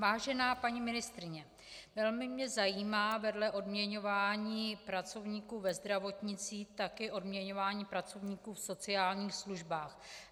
Vážená paní ministryně, velmi mě zajímá vedle odměňování pracovníků ve zdravotnictví také odměňování pracovníků v sociálních službách.